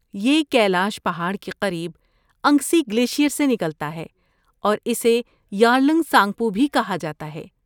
یہ کیلاش پہاڑ کے قریب انگسی گلیشیئر سے نکلتا ہے اور اسے یارلنگ سانگپو بھی کہا جاتا ہے۔